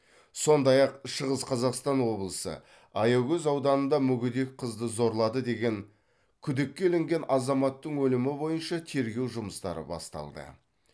сондай ақ шығыс қазақстан облысы аягөз ауданында мүгедек қызды зорлады деген күдікке ілінген азаматтың өлімі бойынша тергеу жұмыстары басталды